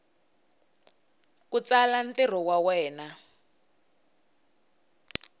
ku tsala ntirho wa wena